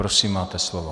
Prosím máte slovo.